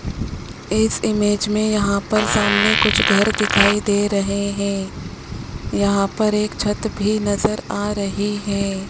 इस इमेज में यहां पर सामने कुछ घर दिखाई दे रहे हैं यहां पर एक छत भी नजर आ रही है।